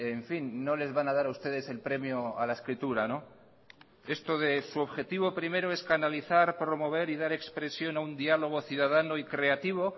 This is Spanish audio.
en fin no les van a dar a ustedes el premio a la escritura esto de su objetivo primero es canalizar promover y dar expresión a un diálogo ciudadano y creativo